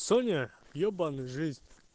соня ебанный жизнь